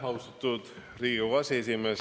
Austatud Riigikogu aseesimees!